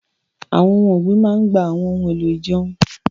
Àwọn ohun ọ̀gbìn máa ń gba àwọn ohun èlò ìjẹun